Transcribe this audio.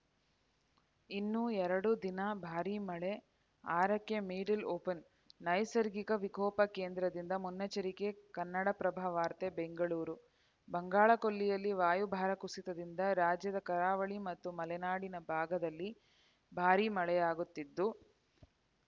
ಇನ್ನೂ ಎರಡು ದಿನ ಭಾರಿ ಮಳೆ ಆರಕ್ಕೆ ಮಿಡಲ್‌ ಓಪನ್‌ ನೈಸರ್ಗಿಕ ವಿಕೋಪ ಕೇಂದ್ರದಿಂದ ಮುನ್ನೆಚ್ಚರಿಕೆ ಕನ್ನಡಪ್ರಭ ವಾರ್ತೆ ಬೆಂಗಳೂರು ಬಂಗಾಳಕೊಲ್ಲಿಯಲ್ಲಿ ವಾಯುಭಾರ ಕುಸಿತದಿಂದ ರಾಜ್ಯದ ಕರಾವಳಿ ಮತ್ತು ಮಲೆನಾಡು ಭಾಗದಲ್ಲಿ ಭಾರಿ ಮಳೆಯಾಗುತ್ತಿದ್ದು